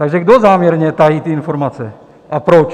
Takže kdo záměrně tají ty informace a proč?